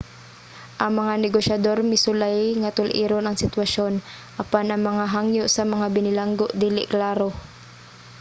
ang mga negosyador misulay nga tul-iron ang sitwasyon apan ang mga hangyo sa mga binilanggo dili klaro